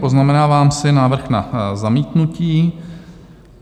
Poznamenávám si návrh na zamítnutí.